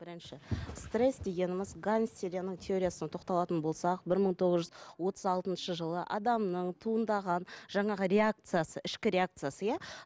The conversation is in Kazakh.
бірінші стресс дегеніміз теориясына тоқталатын болсақ бір мың тоғыз жүз отыз алтыншы жылы адамның туындаған жаңағы реакциясы ішкі реакциясы иә